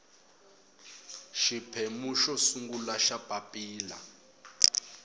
xiphemu xo sungula xa papilla